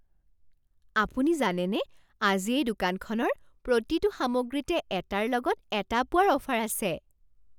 আপুনি জানেনে আজি এই দোকানখনৰ প্ৰতিটো সামগ্ৰীতে এটাৰ লগত এটা পোৱাৰ অফাৰ আছে?